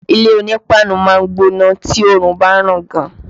Ilé onípáánù máa ń gbóná tí oòrùn bá ràn gan